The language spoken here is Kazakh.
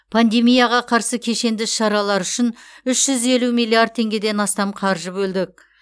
пандемияға қарсы кешенді іс шаралар үшін үш жүз елу миллиард теңгеден астам қаржы бөлдік